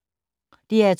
DR2